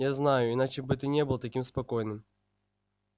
я знаю иначе бы ты не был таким спокойным